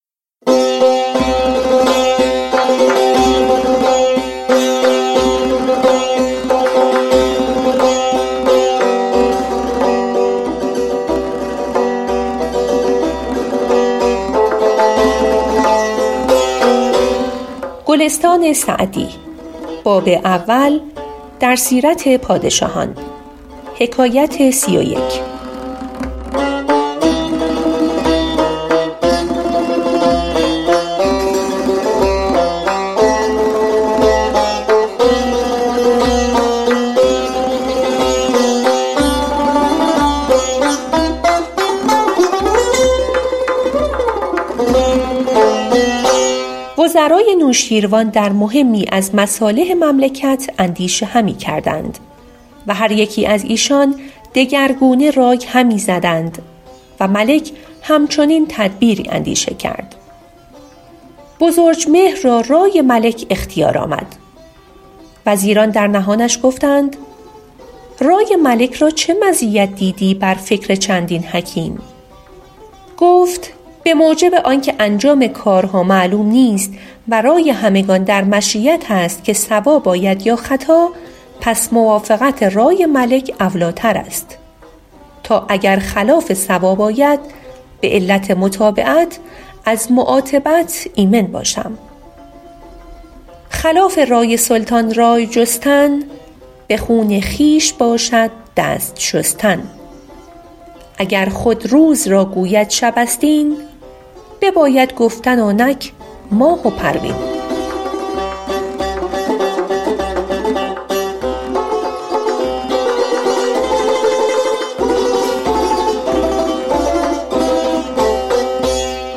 وزرای نوشیروان در مهمی از مصالح مملکت اندیشه همی کردند و هر یکی از ایشان دگرگونه رای همی زدند و ملک هم چنین تدبیری اندیشه کرد بزرجمهر را رای ملک اختیار آمد وزیران در نهانش گفتند رای ملک را چه مزیت دیدی بر فکر چندین حکیم گفت به موجب آن که انجام کارها معلوم نیست و رای همگان در مشیت است که صواب آید یا خطا پس موافقت رای ملک اولی ٰتر است تا اگر خلاف صواب آید به علت متابعت از معاتبت ایمن باشم خلاف رای سلطان رای جستن به خون خویش باشد دست شستن اگر خود روز را گوید شب است این بباید گفتن آنک ماه و پروین